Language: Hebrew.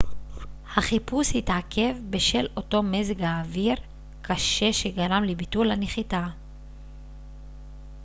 החיפוש התעכב בשל אותו מזג האוויר קשה שגרם לביטול הנחיתה